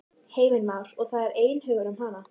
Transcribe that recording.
Heimir Már: Og það er einhugur um hana?